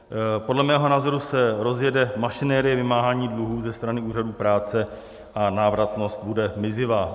Podle mého názoru se rozjede mašinerie vymáhání dluhů ze strany úřadů práce a návratnost bude mizivá.